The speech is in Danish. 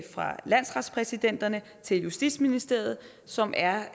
fra landsretspræsidenterne til justitsministeriet som er